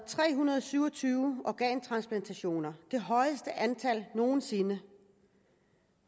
tre hundrede og syv og tyve organtransplantationer det det højeste antal nogen sinde